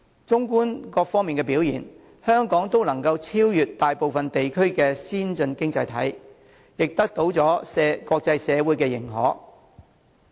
縱觀各方面的表現，香港都能夠超越大部分先進經濟體，亦得到了國際社會的認可。